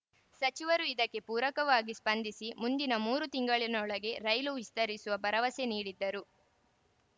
ಸಚಿವರು ಇದಕ್ಕೆ ಪೂರಕವಾಗಿ ಸ್ಪಂದಿಸಿ ಮುಂದಿನ ಮೂರು ತಿಂಗಳಿನೊಳಗೆ ರೈಲು ವಿಸ್ತರಿಸುವ ಭರವಸೆ ನೀಡಿದ್ದರು